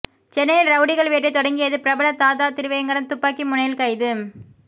சென்னையில் ரவுடிகள் வேட்டை தொடங்கியது பிரபல தாதா திருவேங்கடம் துப்பாக்கி முனையில் கைது